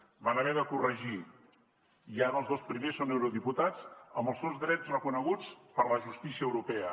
ho van haver de corregir i ara els dos primers són eurodiputats amb els seus drets reconeguts per la justícia europea